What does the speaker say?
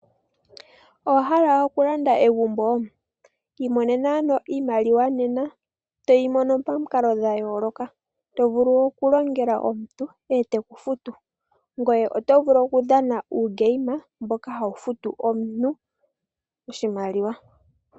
Owa hala okulamda egumbo? Imonema ano iimaliwa nena toyi mono pamikalo dha yooloka. To vulu oku longela omuntu e te ku futu, ngweye oto vulu wo okudhana uugame mboka hawu futu omuntu oshimaliwa.